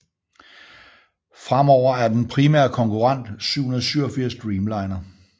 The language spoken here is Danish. Fremover er den primære konkurrent 787 Dreamliner